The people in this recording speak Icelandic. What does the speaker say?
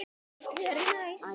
Hann var alveg að ná mér